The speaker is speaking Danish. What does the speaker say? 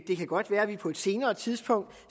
det kan godt være at vi på et senere tidspunkt